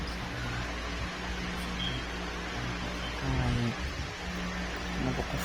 Maskaxdeyda waxa kusodacay waa maxa wayey labo qof